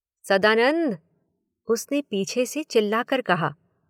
सदानंद उसने पीछे से चिल्लाकर कहा।